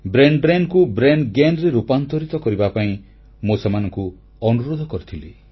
brain drain କୁ brain Gainରେ ରୂପାନ୍ତରିତ କରିବା ପାଇଁ ମୁଁ ସେମାନଙ୍କୁ ଅନୁରୋଧ କରିଥିଲି